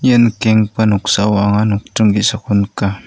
ia nikenggipa noksao anga nokdring ge·sako nika.